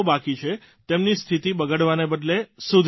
તેમની સ્થિતિ બગડવાના બદલે સુધરી રહી છે